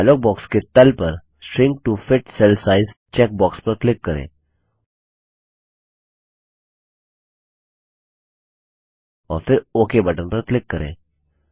dialogue box के तल पर shrink to fit cell size check box पर क्लिक करें और फिर ओक बटन पर क्लिक करें